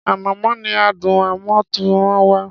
Ànàmọ́ ní adùn àmútọ̀runwá.